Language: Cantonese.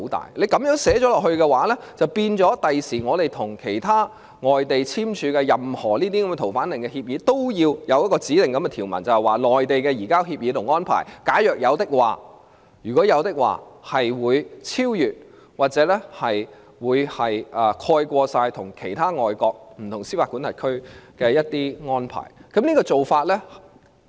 如果就這樣寫入條文，便會令我們將來與其他外地簽署的任何逃犯令協議，都要有指定的條文，就是假如將來與內地簽訂了移交協議及安排，便會超越或蓋過香港與其他外國不同司法管轄區所簽訂的安排。